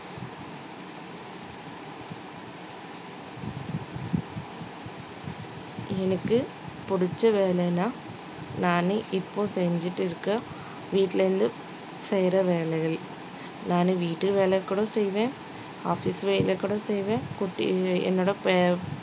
எனக்கு புடிச்ச வேலைன்னா நானு இப்போ செஞ்சுட்டு இருக்க வீட்டுல இருந்து செய்ற வேலைகள், நானு வீட்டு வேலை கூட செய்வேன் office வேலை கூட செய்வேன் குட்டி என்னோட